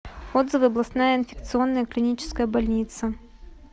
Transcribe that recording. отзывы областная инфекционная клиническая больница